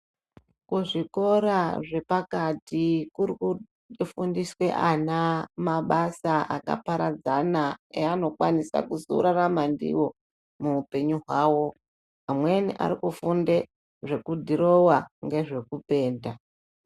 Kuzvikora zvepakati kurikufundiswe ana mabasa akaparadzana eanokwanisa kuzorarama ndiwo muupenyu hwawo. Amweni arikufunde zvekudhirowa ngezvekupenda.